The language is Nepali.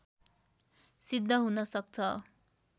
सिद्ध हुन सक्छ